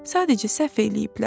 Sadəcə səhv eləyiblər.